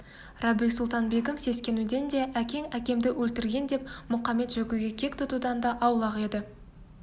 рабиу-сұлтан-бегім сескенуден де әкең әкемді өлтіргендеп мұқамет-жөкіге кек тұтудан да аулақ еді